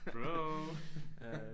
Bro ja